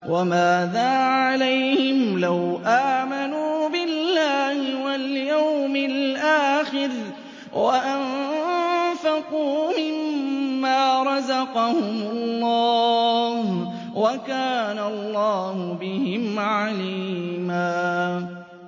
وَمَاذَا عَلَيْهِمْ لَوْ آمَنُوا بِاللَّهِ وَالْيَوْمِ الْآخِرِ وَأَنفَقُوا مِمَّا رَزَقَهُمُ اللَّهُ ۚ وَكَانَ اللَّهُ بِهِمْ عَلِيمًا